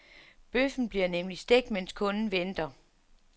Bøffen bliver nemlig stegt, mens kunden venter.